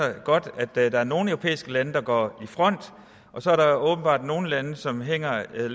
godt at der er nogle europæiske lande der går i front og så er der åbenbart nogle lande som hænger i